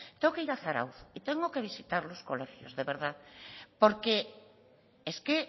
tengo que ir a zarautz y tengo que visitar los colegios de verdad porque es que